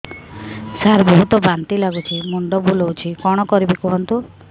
ସାର ବହୁତ ବାନ୍ତି ଲାଗୁଛି ମୁଣ୍ଡ ବୁଲୋଉଛି କଣ କରିବି କୁହନ୍ତୁ